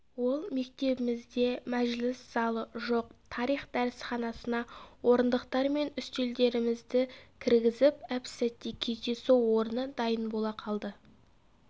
ол мектебімізде мәжіліс залы жоқ тарих дәрісханасына орындықтар мен үстелдерімізді кіргізіп әп-сәтте кездесу орны дайын бола қалды